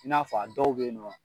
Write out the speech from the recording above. I n'a fɔ a dɔw beyinɔ.